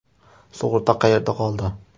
Sug‘urta qayerda qoldi?